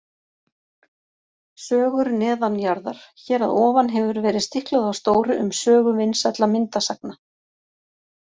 Sögur neðanjarðar Hér að ofan hefur verið stiklað á stóru um sögu vinsælla myndasagna.